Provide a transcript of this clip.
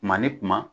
Kuma ni kuma